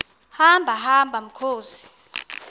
hamba hamba mkhozi